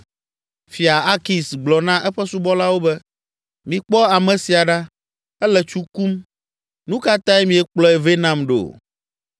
Fia Akis gblɔ na eƒe subɔlawo be, “Mikpɔ ame sia ɖa! Ele tsu kum! Nu ka tae miekplɔe vɛ nam ɖo?